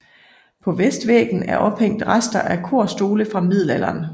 På vestvæggen er ophængt rester af korstole fra middelalderen